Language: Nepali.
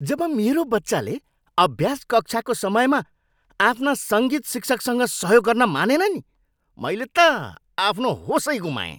जब मेरो बच्चाले अभ्यास कक्षाको समयमा आफ्ना सङ्गीत शिक्षकसँग सहयोग गर्न मानेन नि मैले त आफ्नो होसै गुमाएँ।